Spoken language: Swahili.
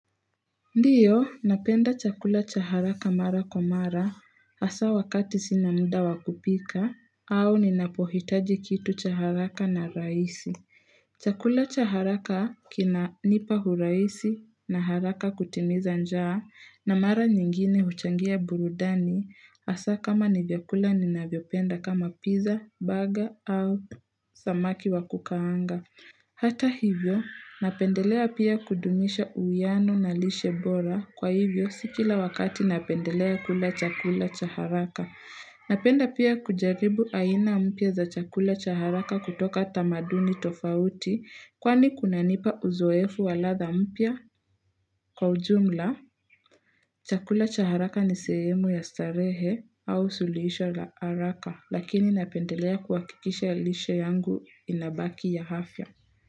Ndiyo, napenda chakula cha haraka mara kwa mara, hasa wakati sinamuda wakupika, au ninapohitaji kitu cha haraka na rahisi. Chakula cha haraka kina nipa uraisi na haraka kutimiza njaa, na mara nyingine huchangia burudani, hasa kama nivyakula ninavyopenda kama pizza, baga au samaki wa kukaanga. Hata hivyo, napendelea pia kudumisha uyano na lishe bora kwa hivyo sikila wakati napendelea kula chakula chaharaka. Napenda pia kujaribu aina mpya za chakula chaharaka kutoka tamaduni tofauti kwani kuna nipa uzoefu waladha mpya. Kwa ujumla, chakula chaharaka ni sehemu ya starehe au sulisho la haraka lakini napendelea kuwakikisha lishe yangu inabaki ya afya.